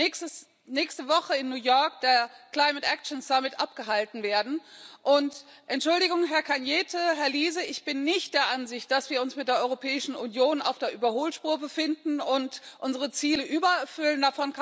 Jetzt wird nächste Woche in New York der abgehalten werden, und Entschuldigung, Herr Cañete, Herr Liese ich bin nicht der Ansicht, dass wir uns mit der Europäischen Union auf der Überholspur befinden und unsere Ziele übererfüllen